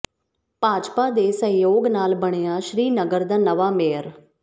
ਭਾਜਪਾ ਦੇ ਸਹਿਯੋਗ ਨਾਲ ਬਣਿਆ ਸ੍ਰੀਨਗਰ ਦਾ ਨਵਾਂ ਮੇਅਰ